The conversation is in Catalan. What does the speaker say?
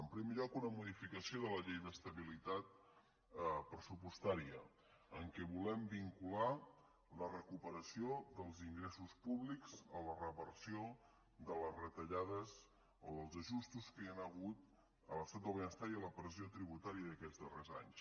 en primer lloc una modificació de la llei d’estabilitat pressupostà ria en què volem vincular la recuperació dels ingressos públics a la reversió de les retallades o dels ajustos que hi han hagut a l’estat del benestar i a la pressió tributària d’aquests darrers anys